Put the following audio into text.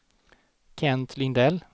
Kent Lindell